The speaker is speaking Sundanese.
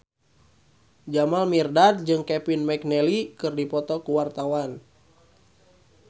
Jamal Mirdad jeung Kevin McNally keur dipoto ku wartawan